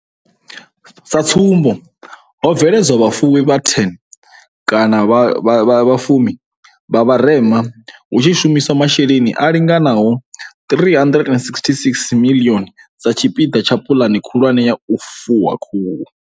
Sa tsumbo, ho bveledzwa vhafuwi vha 10 vha vharema hu tshi shumiswa mashe leni a linganaho R366 miḽioni sa tshipiḓa tsha puḽane khulwane ya u fuwa khuhu.